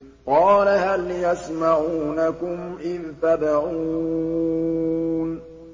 قَالَ هَلْ يَسْمَعُونَكُمْ إِذْ تَدْعُونَ